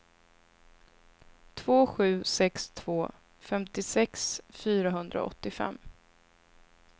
två sju sex två femtiosex fyrahundraåttiofem